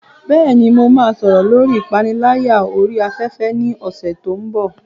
Bẹ́ẹ̀ni, mo máa sọ̀rọ̀ lórí ìpániláyà orí afẹ́fẹ́ ní ọ̀sẹ̀ tó ń bọ̀.